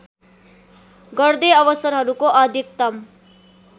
गर्दै अवसरहरूको अधिकतम